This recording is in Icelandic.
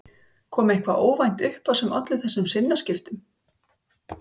Þóra: Kom eitthvað óvænt upp á sem olli þessum sinnaskiptum?